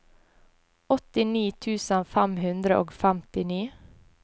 åttini tusen fem hundre og femtini